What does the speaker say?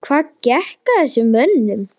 Hvað gekk að þessum mönnum?